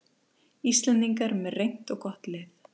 Íslendingar með reynt og gott lið